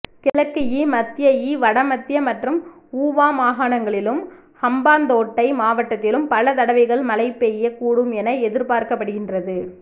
கிழக்குஇ மத்தியஇ வடமத்திய மற்றும் ஊவா மாகாணங்களிலும் ஹம்பாந்தோட்டை மாவட்டத்திலும் பல தடவைகள் மழை பெய்யக் கூடும் என எதிர்பார்க்கப்படுகின்றது